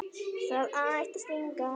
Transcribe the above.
Það ætti að stinga.